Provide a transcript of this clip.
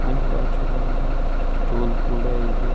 ಅನ ಬಾಜು ಒಂದು ಸ್ಟೂಲ್ ಕೂಡ ಇದೆ.